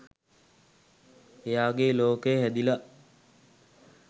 එයාගේ ලෝකය හැදිලා